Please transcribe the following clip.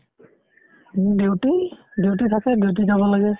উম, duty। duty থাকে duty যাব লাগে